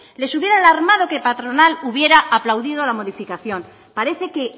les hubiera alarmado que la patronal hubiera aplaudido la modificación parece que